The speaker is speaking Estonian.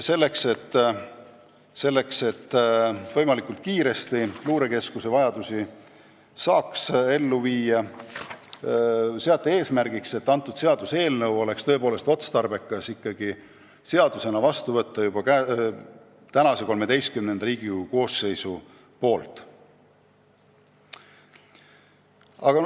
Selleks, et võimalikult kiiresti luurekeskuse vajadused täita, seati eesmärgiks võtta seaduseelnõu seadusena vastu veel Riigikogu XIII koosseisu ametiajal.